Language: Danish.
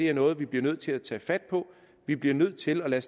er noget vi bliver nødt til at tage fat på vi bliver nødt til at